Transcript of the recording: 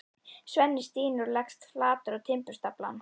Svenni stynur og leggst flatur á timburstaflann.